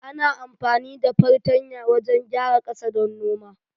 Ana amfani da fartanya wajan gyara ƙasa don noma